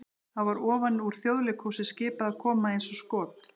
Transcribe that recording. það var ofan úr Þjóðleikhúsi skipað að koma eins og skot!